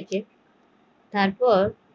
এ তারপর